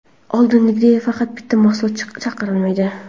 Oldingidek, faqat bitta mahsulot chiqarilmaydi.